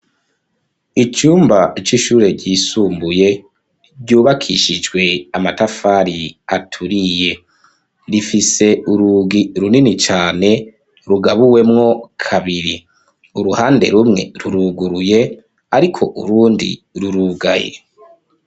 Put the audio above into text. Icumba, c'ishure ryisumbuye, ryubakishijwe amatafari, aturiye; rifise urugi, runini cane, rugabuwemwo kabiri; uruhande rumwe, ruruguruye, ariko, urundi rurugaye.